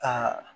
Ka